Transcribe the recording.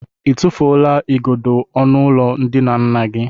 I tụfuola igodo ọnụụlọ ndina nna gị?